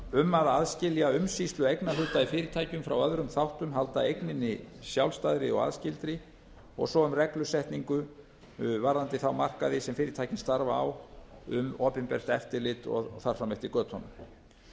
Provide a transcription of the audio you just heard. um að aðskilja umsýslu eignarhlut í fyrirtækjum frá öðrum þáttum halda eigninni sjálfstæðri og aðskildri og svo um reglusetningu varðandi þá markaði sem fyrirtækin starfa á um opinbert eftirlit og þar fram eftir götunum